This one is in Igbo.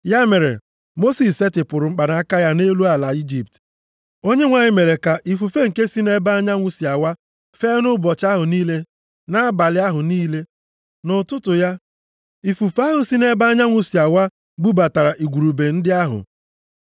Ya mere, Mosis setịpụrụ mkpanaka ya nʼelu ala Ijipt, Onyenwe anyị mere ka ifufe nke si nʼebe anyanwụ si awa fee nʼụbọchị ahụ niile na abalị ahụ niile. Nʼụtụtụ ya, ifufe ahụ si nʼebe anyanwụ si awa bubatara igurube ndị ahụ.